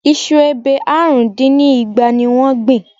Iṣu ebè àrùn dín ní igba ni wọ́n gbìn?